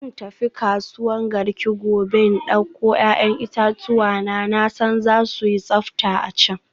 Zan tafi kasuwan Garki gobe in dauko 'ya'yan itatuwa na, na san za su yi tsafta a can.